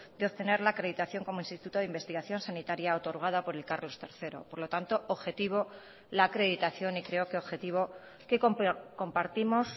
de obtener la acreditación como instituto de investigación sanitaria otorgada por el carlos tercero por lo tanto objetivo la acreditación y creo que objetivo que compartimos